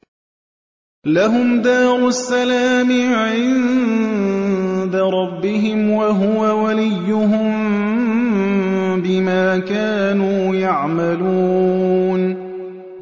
۞ لَهُمْ دَارُ السَّلَامِ عِندَ رَبِّهِمْ ۖ وَهُوَ وَلِيُّهُم بِمَا كَانُوا يَعْمَلُونَ